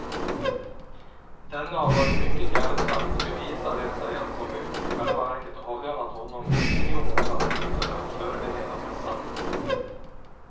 Denne har varit mycket hjälpsam och nu visar det sig att kommunen i själva verket avlönat honom i tio månader för att förbereda mässan.